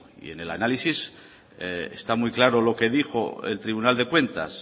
y en el análisis está muy claro lo que dijo el tribunal de cuentas